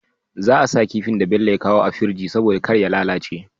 Za a sa kifin da Bello ya kawo a firji saboda karya lalace